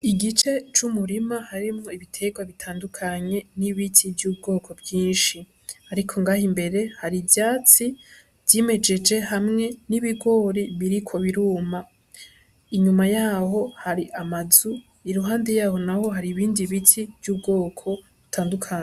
Igice c'umurima harimwo ibiterwa bitandukanye n'ibiti vy'ubwoko vyinshi, ariko ngaha imbere hari ivyatsi vyimejeje hamwe n'ibigori biriko biruma, inyuma yaho hari amazu iruhande yaho naho hari ibindi biti vy'ubwoko bitandukanye.